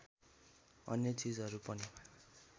अन्य चिजहरू पनि